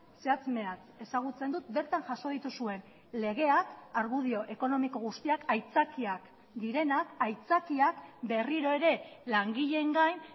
zehatz mehatz ezagutzen dut bertan jaso dituzuen legeak argudio ekonomiko guztiak aitzakiak direnak aitzakiak berriro ere langileen gain